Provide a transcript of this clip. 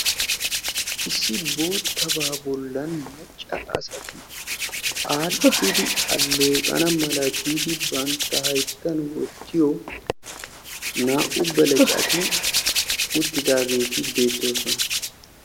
Issi boottabaa bollan cora asati aadhdhidi aalleeqana mala giidi bantta hayittan wottiyo naa"u belecati uttidaageeti beettoosona.